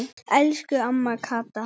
Elsku amma Kata.